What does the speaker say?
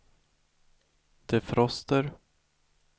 defroster